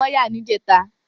Eré ìfẹ ni wọ́n yà ní ìjẹta